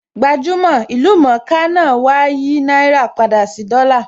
Gbajúmò/ ìlú mọ̀ńká náà wá á yìí náírà padà sí dollar